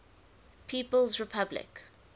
people s republic